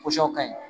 ka ɲi